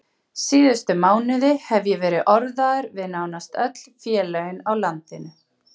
Síðustu mánuði hef ég verið orðaður við nánast öll félögin á landinu.